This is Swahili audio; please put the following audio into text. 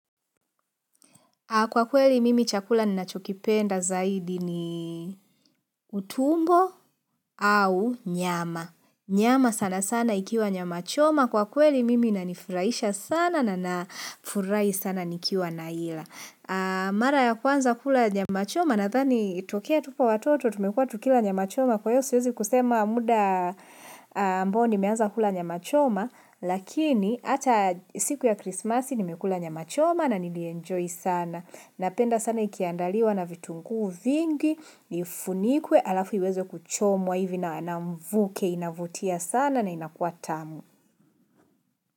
Kwa kweli mimi chakula ninachokipenda zaidi ni utumbo au nyama. Nyama sana sana ikiwa nyamachoma. Kwa kweli mimi inanifurahisha sana na nafurahi sana nikiwa naila. Mara ya kwanza kula nyamachoma nadhani tokea tupo watoto, tumekua tukila nyamachoma. Kwa hivyo siwezi kusema muda ambao nimeanza kula nyamachoma. Lakini hata siku ya krismasi nimekula nyamachoma na nili enjoy sana. Napenda sana ikiandaliwa na vitungu vingi ifunikwe alafu iweze kuchomwa hivi na ana mvuke inavutia sana na inakua tamu.